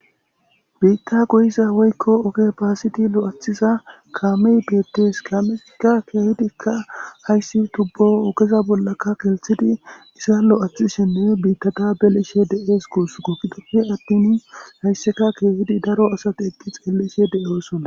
biitta goyiza woykko oge baasiti lo7athiza kaamey deettes kameikka keehidikka hayssi tubbo okeza bollakka kelthidi isa lo7athishinne biittata beleshe de7es kuus kokkidofe attin hayssika keehidi daro asati eqqi xeeleshe de7oosonna